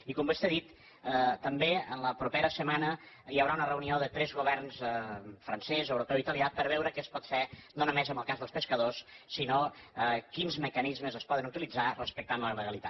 i com vostè ha dit també en la propera setmana hi haurà una reunió de tres governs francès europeu i italià per veure què es pot fer no només amb el cas dels pescadors sinó quins mecanismes es poden utilitzar respectant la legalitat